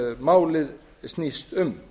málið snýst um